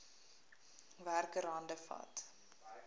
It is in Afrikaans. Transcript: werker hande vat